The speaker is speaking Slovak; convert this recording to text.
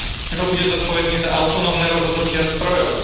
Kto bude zodpovedný za autonómne rozhodnutia strojov?